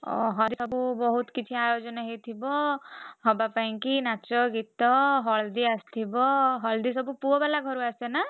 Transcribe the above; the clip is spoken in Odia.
ଓହୋ ଘରେ ସବୁ ବହୁତ୍ କିଛି ଆୟୋଜନ ହେଇଥିବ ହବାପାଇଁ କି ନାଚ ଗୀତ ହଳଦୀ ଆସିଥିବ ହଳଦୀ ସବୁ ପୁଅବାଲା ଘରୁ ଆସେନା?